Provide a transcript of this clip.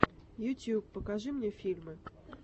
ютуб покажи мне фильмы